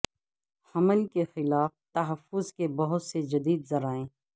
حمل کے خلاف تحفظ کے بہت سے جدید ذرائع